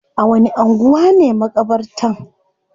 A wani anguwa ne makabartan?